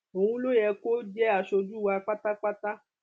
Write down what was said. òun ló yẹ kó jẹ aṣojú wa pátápátá